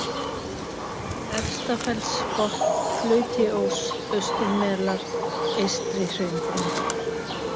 Efstafellsbotn, Blautiós, Austurmelar, Eystri-Hraunbrún